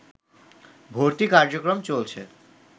ভর্তি কার্যক্রম চলছে